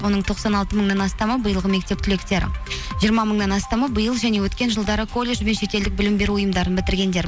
оның тоқсан алты мыңнан астамы биылғы мектеп түлектері жиырма мыңнан астамы биыл және өткен жылдары колледж бен шетелдік білім беру ұйымдарын бітіргендер